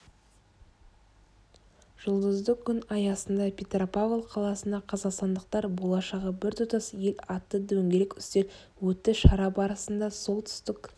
жұлдызды күн аясында петропавл қаласында қазақстандықтар болашағы біртұтас ел атты дөңгелек үстел өтті шара барысында солтүстік